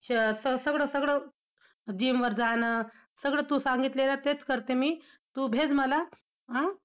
सगळं सगळं gym वर जाणं, सगळं तू सांगितलेलं तेच करते मी, तू भेज मला, हां!